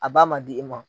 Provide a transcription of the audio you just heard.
A b'a ma di i ma